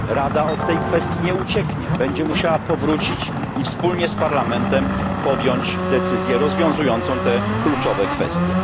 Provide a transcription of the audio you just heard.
Rada od tej kwestii nie ucieknie, będzie musiała ponownie się nią zająć i wspólnie z parlamentem podjąć decyzję rozwiązującą te kluczowe kwestie.